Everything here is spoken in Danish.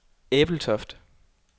Ebeltoft